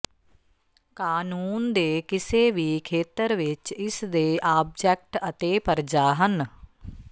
ਕਾਨੂੰਨ ਦੇ ਕਿਸੇ ਵੀ ਖੇਤਰ ਵਿੱਚ ਇਸ ਦੇ ਆਬਜੈਕਟ ਅਤੇ ਪਰਜਾ ਹਨ